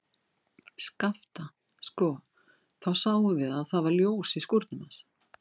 Skapta, sko, þá sáum við að það var ljós í skúrnum hans.